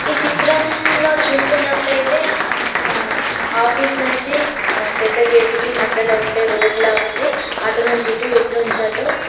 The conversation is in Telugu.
ఈ చిత్రంలో చూస్తున్నట్టయితే ఆఫీస్ నుంచి పెద్ద గేట్ కి మధ్యలో ఉండే రోడ్ ల ఉంది అటు నుంచి ఇటు ఇటు నుంచి అటు --